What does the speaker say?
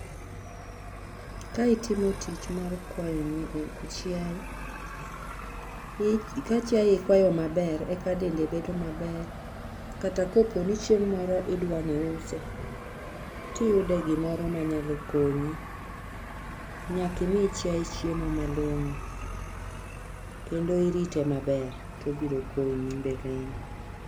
Ka itimo tich mar kwayo chiaye, ka chiaye ikwayo maber eka dende bedo maber kata kaponi chieng moro idwani iuse tiyude gimoro manyalo konyo. Nyaka imi chiaye hiemo malongo kendo irite maber tobiro konyi mbeleni